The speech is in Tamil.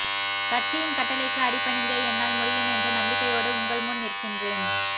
கட்சியின் கட்டளைக்கு அடிபணிந்தே என்னால் முடியும் என்ற நம்பிக்கையோடு உங்கள் முன் நிற்கின்றேன்